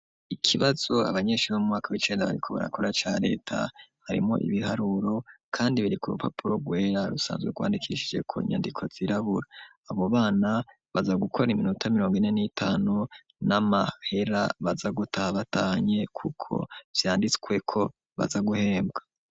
Ikibazo abanyeshure bo mwaka w'icenda bariko barakora ca leta harimwo ibiharuro kandi biri ku rupapuro rwera rusanzwe rwandikishije ko inyandiko zirabura abo bana baza gukora iminota mirongo ine n'itanu n'amahera baza guta batahanye kuko vyanditswe ko baza guhembwa.